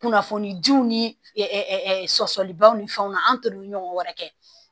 Kunnafonijiw ni sɔsɔlibaw ni fɛnw na an t'olu ɲɔgɔn wɛrɛ kɛ